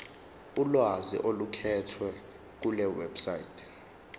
ulwazi oluqukethwe kulewebsite